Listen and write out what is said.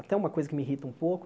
Até uma coisa que me irrita um pouco,